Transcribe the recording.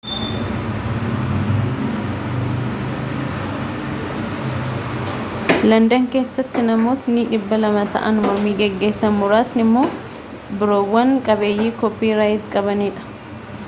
landan keessattinammoonni 200 ta'an mormii geggeessan muraasni immoo biirowwan qabiyyee kooppi raayit qabanidha